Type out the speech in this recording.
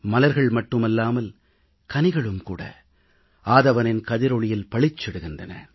மலர்கள் மட்டுமல்லாமல் கனிகளும் கூட ஆதவனின் கதிரொளியில் பளிச்சிடுகின்றன